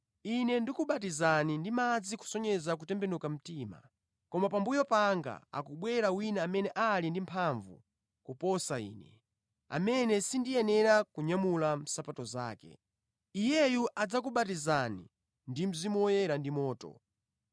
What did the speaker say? “Ine ndikubatizani ndi madzi kusonyeza kutembenuka mtima. Koma pambuyo panga akubwera wina amene ali ndi mphamvu kuposa ine, amene sindiyenera kunyamula nsapato zake. Iyeyu adzakubatizani ndi Mzimu Woyera ndi moto.